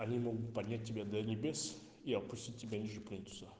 они могут поднять тебя до небес и опустить тебя ниже плинтуса